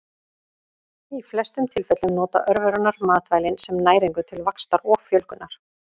Í flestum tilfellum nota örverurnar matvælin sem næringu til vaxtar og fjölgunar.